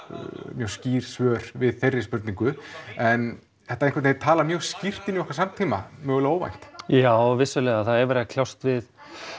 mjög skýr svör við þeirri spurningu en þetta einhvern veginn talar mjög skýrt inn í okkar samtíma mögulega óvænt já vissulega það er verið að kljást við